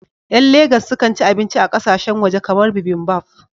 Ƴan Legas sukan ci abinci a ƙasashen waje kamar bibimbap